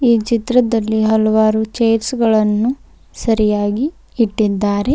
ಈ ಚಿತ್ರದಲ್ಲಿ ಹಲವಾರು ಚೇರ್ಸ್ ಗಳನ್ನು ಸರಿಯಾಗಿ ಇಟ್ಟಿದ್ದಾರೆ.